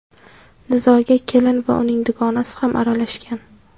Nizoga kelin va uning dugonasi ham aralashgan.